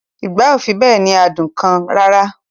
Ìgbá ò fi bẹ́ẹ̀ ní adùn kan rara